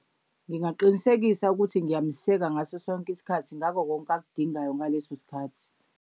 Ngingaqinisekisa ukuthi ngiyamseka ngaso sonke isikhathi, ngako konke akudingayo ngaleso sikhathi.